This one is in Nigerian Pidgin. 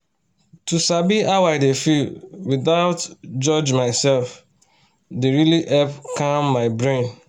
to sabi how i dey feel without judge myself dey really help calm my brain